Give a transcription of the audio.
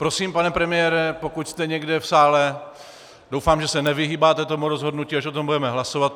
Prosím, pane premiére, pokud jste někde v sále, doufám, že se nevyhýbáte tomu rozhodnutí, až o tom budeme hlasovat.